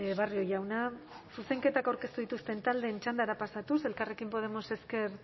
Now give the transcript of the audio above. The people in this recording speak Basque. barrio jauna zuzenketak aurkeztu dituzten taldeen txandara pasatuz elkarrekin podemos ezker